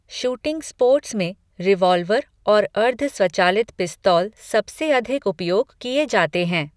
Shooting sports में, revolver और अर्ध स्वचालित पिस्तौल सबसे अधिक उपयोग किए जाते हैं।